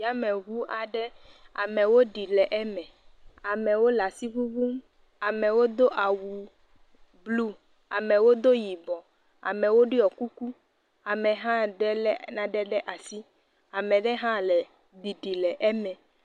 Yameŋu aɖe amewo ɖi le eme. Amewo le asi ŋuŋum. Amewo do awu blu, amewo do yibɔ, amewo ɖɔ kuku ame hã ɖe le nane ɖe asi, amea aɖe hã le ɖiɖim le eme.